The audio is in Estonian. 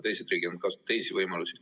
Teised riigid on kasutanud teisi võimalusi.